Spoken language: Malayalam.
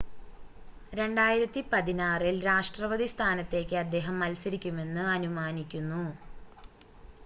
2016-ൽ രാഷ്‌ട്രപതി സ്ഥാനത്തേക്ക് അദ്ദേഹം മത്സരിക്കുമെന്ന് അനുമാനിക്കുന്നു